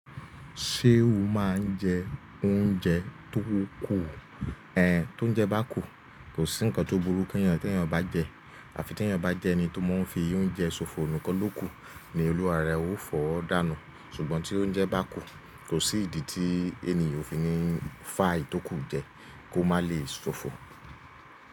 Ṣé o má ń jẹ oúnjẹ tó kù? Ẹn, tó ń jẹ bá kù, kò sí nǹkan tó burú kí ènìyàn tí ènìyàn bá jẹ. Àfi tí ènìyàn bá jẹ ẹni tó máa ń fi oúnjẹ ṣòfò nìkan ló kù, ni Olúwa rẹ ó fọ́ ọ́ dànù. Ṣùgbọ́n tí oúnjẹ bá kù, kò sí ìdí tí ènìyàn ò fi ní fá èyí tó kù jẹ kí ó má lè ṣòfò.